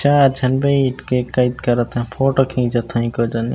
चार झन बइठ के कैद करत ह फोटो खींचत है का जानी --